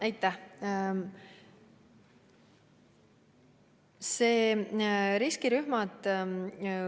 Aitäh!